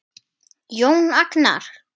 Jón Agnar?